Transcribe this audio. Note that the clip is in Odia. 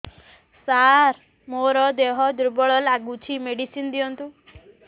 ସାର ମୋର ଦେହ ଦୁର୍ବଳ ଲାଗୁଚି ମେଡିସିନ ଦିଅନ୍ତୁ